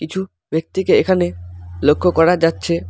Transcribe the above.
কিছু ব্যক্তিকে এখানে লক্ষ্য করা যাচ্ছে।